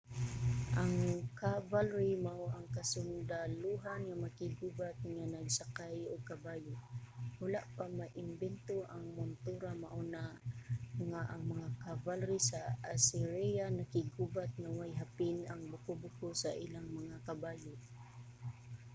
ang cavalry mao ang kasundalohan nga makig-gubat nga nagsakay og kabayo. wala pa maimbento ang montura mao na nga ang mga cavalry sa assyria nakiggubat nga way hapin ang buko-buko sa ilang mga kabayo